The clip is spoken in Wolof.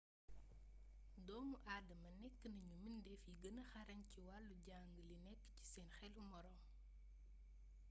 doomu aadama nekk nañu mbindeef yi gëna xarañ ci wàllu jàng li nekk ci seen xelu moroom